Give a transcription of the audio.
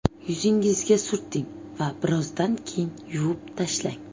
Yuzingizga surting va birozdan keyin yuvib tashlang.